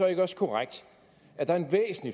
aldersgrænser